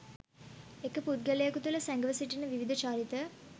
එක් පුද්ගලයකු තුළ සැඟව සිටින විවිධ චරිත